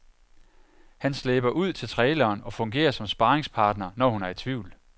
Han slæber ud til traileren og fungerer som sparringspartner, når hun er i tvivl.